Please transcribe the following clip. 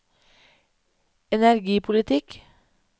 energipolitikk